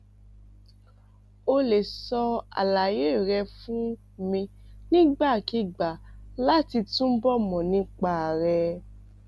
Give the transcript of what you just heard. o lè sọ àlàyé rẹ fún mi nígbàkigbà láti túbọ mọ nípa rẹ